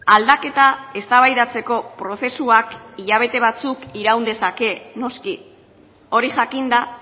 aldaketa eztabaidatzeko prozesuak hilabete batzuk iraun dezake noski hori jakinda